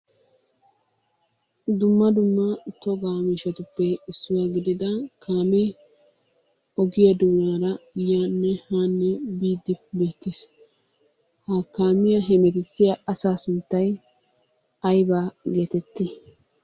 Dumma dumma togaa miishshatuppe issuwa gidida kaamee ogiyaa doonaara yaanne haanne biidi beettees. Ha kaamiya hemettissiya asaa sunttay aybaa gettetti?